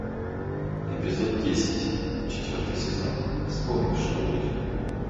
эпизод десять четвертый сезон вспомни что будет